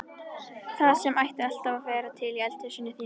Það sem ætti alltaf að vera til í eldhúsinu þínu!